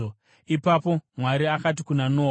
Ipapo Mwari akati kuna Noa,